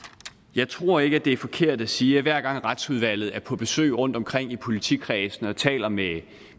jeg tror ikke det er forkert at sige at hver gang retsudvalget er på besøg rundtomkring i politikredsene og taler med